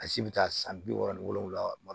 A si bɛ taa san bi wɔɔrɔ ni wolonwula